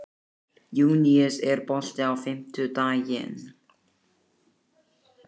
Júníus, er bolti á fimmtudaginn?